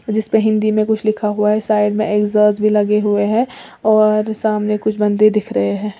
जिसपे हिंदी में लिखा हुआ है साइड मे एग्जास्ट भी लगे हुए है और सामने कुछ बंदे दिख रहे हैं।